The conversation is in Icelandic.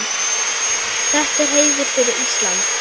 Þetta er heiður fyrir Ísland.